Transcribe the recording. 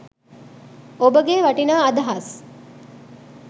ඔබගේ වටිනා අදහස්